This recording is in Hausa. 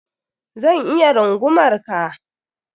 Zan iya rungumar ka?